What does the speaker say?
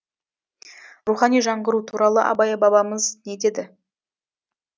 рухани жаңғыру туралы абай бабамыз не деді